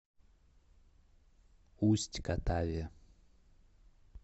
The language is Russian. усть катаве